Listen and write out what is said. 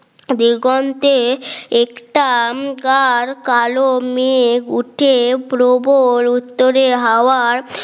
দিগন্তে এক্সাম কার কালো মেঘ উঠে প্রবল উত্তরে হওয়ার